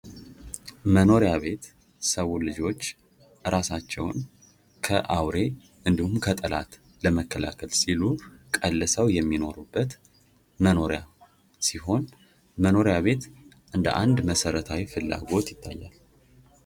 መኖሪያ ቤት የሰው ልጆች እራሳቸውን ከአውሬ እንድሁም ከጠላት ለመከላከል ሲሉ ቀልሰው የሚኖሩበት መኖሪያ ሲሆን መኖሪያ ቤት እንደ አንድ መሠረታዊ ፍላጐት ይታያል።